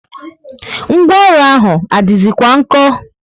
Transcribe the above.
Ngwaọrụ ahụ adizi kwa nko?